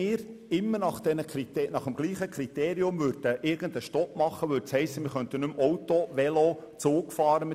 Würden wir nach diesem Kriterium immer einen Stopp machen, könnte man nicht mehr Auto, Velo oder Zug fahren.